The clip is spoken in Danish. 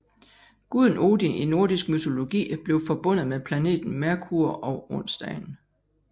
Guden Odin i nordisk mytologi blev forbundet med planeten Merkur og onsdagen